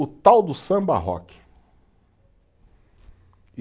O tal do samba-rock.